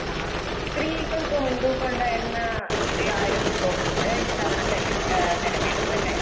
ആ സ്ത്രീകൾക്ക് മുൻതൂക്കയൊണ്ടായിരുന്നാ യായിരുന്നൂന്ന്തോന്നുണ്ട് ഇത്തവണത്തെഇലക് ഏഹ് തെരെഞ്ഞെടുപ്പല്ലെ?